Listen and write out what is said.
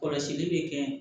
Kɔlɔsili bɛ kɛ